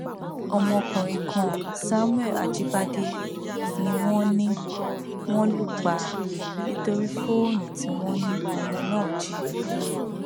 ọmọkùnrin kan samuel ajíbádé ni wọn ní wọn lù pa nítorí fóònù tí wọn ní ọmọ náà jí